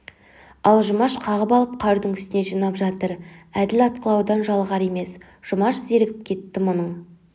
ал жұмаш қағып алып қардың үстіне жинап жатыр әділ атқылаудан жалығар емес жұмаш зерігіп кетті мұның